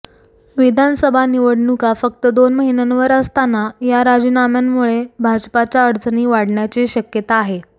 विधानसभा निवडणुका फक्त दोन महिन्यांवर असताना या राजीनाम्यांमुळे भाजपाच्या अडचणी वाढण्याची शक्यता आहे